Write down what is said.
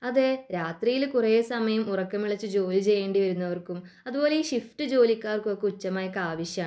അതെ രാത്രിയിൽ കുറെ സമയം ഉറക്കമിളച്ചു ജോലി ചെയ്യേണ്ടി വരുന്നവർക്ക് അതുപോലെ ഷിഫ്റ്റ് ജോലിക്കാർക്കും ഈ ഉച്ചമയക്കം ആവശ്യമാണ്